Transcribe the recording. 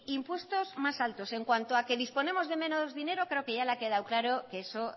impuestos más altos en cuanto a que disponemos de menos dinero creo que ya le ha quedado claro que eso